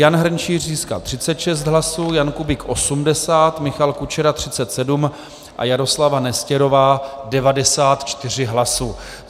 Jan Hrnčíř získal 36 hlasů, Jan Kubík 80, Michal Kučera 37 a Jaroslava Nestěrová 94 hlasů.